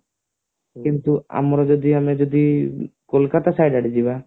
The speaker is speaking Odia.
ଯେମତି ଆମର ଯଦି ଆମେ ଯଦି କୋଲକତା side ଆଡେଯିବା